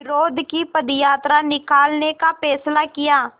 विरोध की पदयात्रा निकालने का फ़ैसला किया